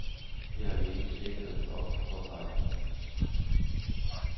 Det har vi ingen sikkerhed for, påpeger hun.